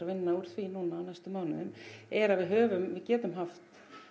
vinna úr því núna á næstu mánuðum er að við höfum við getum haft